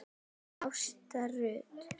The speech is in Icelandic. Ásta Rut.